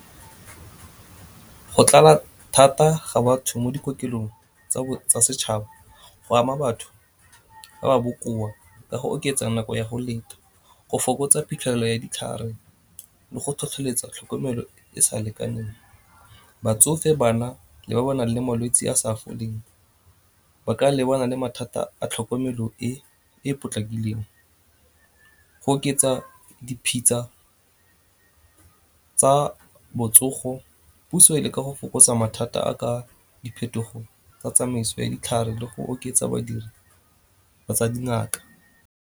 Go tlala thata ga batho mo dikokelong tsa setšhaba go ama batho ba ba bokoa ka go oketsa nako ya go leta, go fokotsa phitlhelelo ya ditlhare le go tlhotlheletsa tlhokomelo e sa lekaneng. Batsofe, bana le ba ba nang le malwetsi a sa foleng ba ka lebana mathata a tlhokomelo e e potlakileng. Go oketsa tsa botsogo, puso e ka go fokotsa mathata a ka diphetogo tsa tsamaiso ya ditlhare le go oketsa badiri ba tsa dingaka.